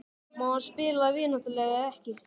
Má hann spila vináttuleiki eða ekki?